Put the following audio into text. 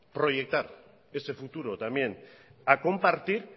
proyectar ese futuro también a compartir